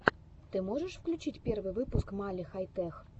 ты можешь включить первый выпуск мали хай тех